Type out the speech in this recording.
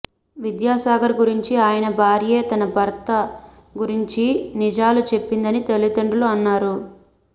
విద్యాసాగర్ గురించి ఆయన భార్యే తన భర్త గురించి నిజాలు చెప్పిందని తల్లిదండ్రులు అన్నారు